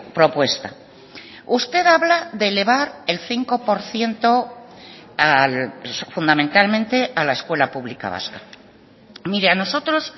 propuesta usted habla de elevar el cinco por ciento fundamentalmente a la escuela pública vasca mire a nosotros